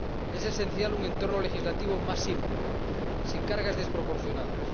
Es esencial un entorno legislativo más simple, sin cargas desproporcionadas.